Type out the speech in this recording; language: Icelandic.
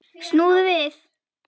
Snúðu við!